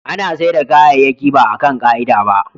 ana saida kayayyaki baa kan ka'ida ba